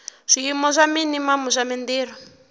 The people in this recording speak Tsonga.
swiyimo swa minimamu swa mintirho